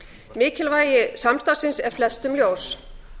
mikilvægi samstarfsins er flestum ljós